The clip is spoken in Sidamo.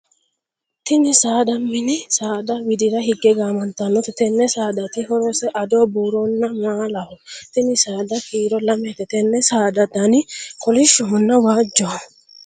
Tinni saada minni saada widira hige gaamantanote. Tenne saadaati horose ado, buuronna maalaho. Tinni saada kiiro lamete. Tenne saada danni kolishonna waajoho.